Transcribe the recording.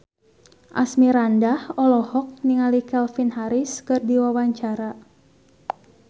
Asmirandah olohok ningali Calvin Harris keur diwawancara